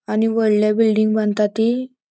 आणि वोडले बिल्डिंग बांता ती.